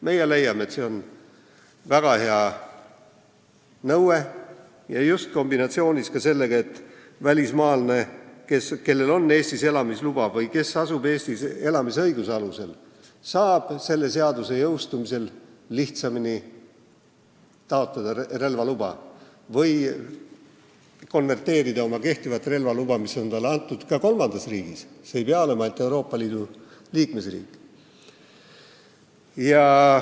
Meie leiame, et see on väga hea nõue, just kombinatsioonis sellega, et välismaalane, kellel on Eestis elamisluba või kes asub Eestis elamisõiguse alusel, saab selle seaduse jõustumisel lihtsamini taotleda relvaluba või konverteerida oma kehtivat relvaluba, mis võib talle antud olla ka kolmandas riigis, see riik ei pea olema ainult Euroopa Liidu liikmesriik.